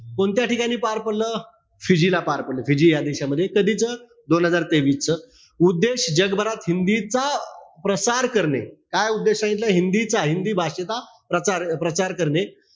कोणत्या ठिकाणी पार पडलं? फिजी ला पार पडलं. फिजी या देशामध्ये. कधीच? दोन हजार तेवीसच. उद्देश? जगभरात हिंदीचा प्रसार करणे. काय उद्देश सांगितला? हिंदीचा, हिंदी भाषेचा प्रसा प्रचार करणे.